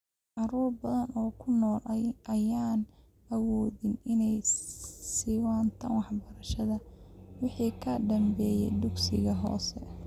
Carruur badan oo kunool ayaan awoodin inay siiwataan waxbarashada wixii ka dambeeya dugsiga hoose.